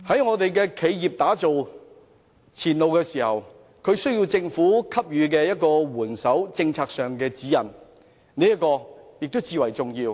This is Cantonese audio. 為企業打造前路時，政府在政策上施以援手和給予指引，亦至為重要。